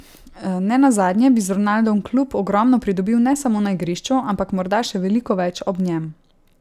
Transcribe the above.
Ne nazadnje bi z Ronaldom klub ogromno pridobil ne samo na igrišču, ampak morda še veliko več ob njem.